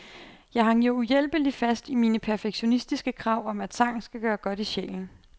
Jeg hang jo uhjælpeligt fast i mine perfektionistiske krav om at sang skal gøre godt i sjælen.